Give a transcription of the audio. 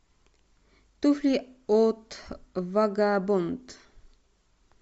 туфли от вагабонд